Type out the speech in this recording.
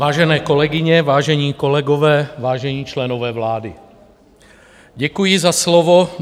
Vážené kolegyně, vážení kolegové, vážení členové vlády, děkuji za slovo.